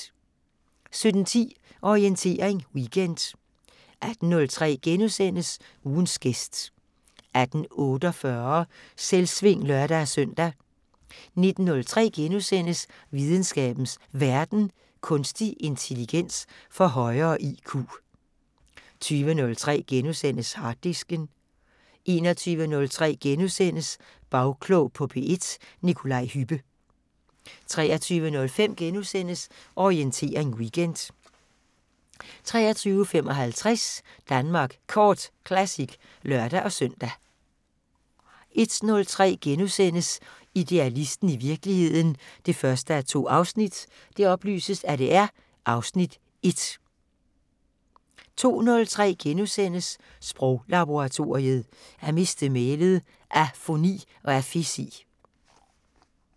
17:10: Orientering Weekend 18:03: Ugens gæst * 18:48: Selvsving (lør-søn) 19:03: Videnskabens Verden: Kunstig intelligens får højere IQ * 20:03: Harddisken * 21:03: Bagklog på P1: Nikolaj Hübbe * 23:05: Orientering Weekend * 23:55: Danmark Kort Classic (lør-søn) 01:03: Idealisten – i virkeligheden 1:2 (Afs. 1)* 02:03: Sproglaboratoriet: At miste mælet - afoni og afesi *